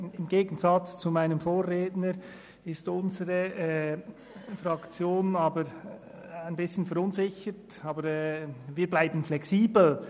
Im Gegensatz zu meinem Vorredner ist unsere Fraktion ein bisschen verunsichert, aber wir bleiben flexibel.